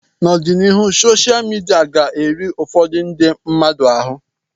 N'ọdịnihu sosha midia ga-eri ụfọdụ ndị mmadụ ahụ